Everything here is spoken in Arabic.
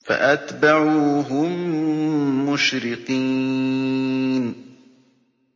فَأَتْبَعُوهُم مُّشْرِقِينَ